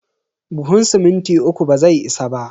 Buhun siminti uku bazai isa ba.